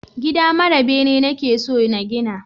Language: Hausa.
Gida mara bene nake so na gina